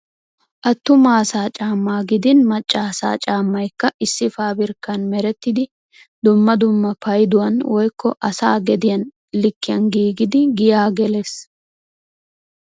Attuma asaa caammaa gidin macca asaa caammaykka issi paabirkkan merettidi dumma dumma payduwan woykko asaa gediya likkiyan giigidi giyaa gelees.